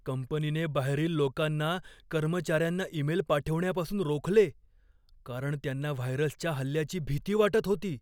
कंपनीने बाहेरील लोकांना कर्मचार्यांना ईमेल पाठविण्यापासून रोखले, कारण त्यांना व्हायरसच्या हल्ल्याची भीती वाटत होती.